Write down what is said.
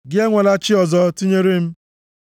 “Gị enwela chi ọzọ tinyere m.